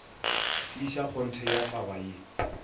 tiiša kgonthe ya taba ye